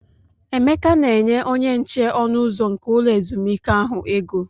Emeka na-enye onyenche ọnụ ụzọ nke ulọ ezumike ahụ ego.